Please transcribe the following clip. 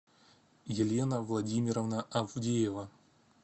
елена владимировна авдеева